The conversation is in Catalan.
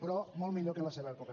però molt millor que en la seva època